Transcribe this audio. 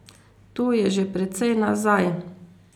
To je že precej nazaj.